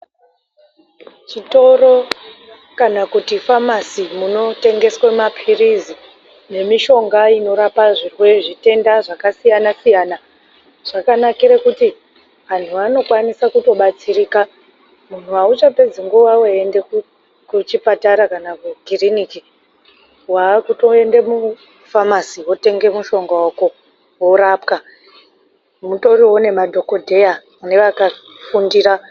Zvitoro kana kuti famasi munotengeswe mapirisi nemishonga inorapa zvimweni zvitenda zvakasiyana siyana, zvakanakire kuti vantu vanokwanisa kutobatsirika, muntu hauchapedzi nguva uchienda kuchipatara kana kukiriniki, wakutoende kufamasi otenge mushonga wako orapwa mutoriwo nemadhokodheya nevakafundira.